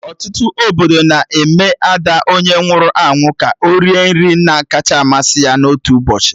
Ọtụtụ obodo na-eme Ada onye nwụrụ anwụ ka o rie nri nna kacha masị ya na otu ụbọchị